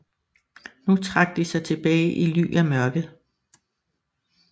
Nu trak de sig tilbage i ly af mørket